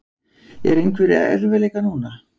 Eru einhverjir erfiðleikar núna?